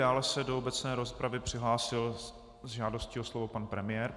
Dále se do obecné rozpravy přihlásil s žádostí o slovo pan premiér.